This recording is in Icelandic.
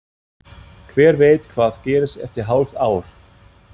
Hver veit hvað gerist eftir hálft ár?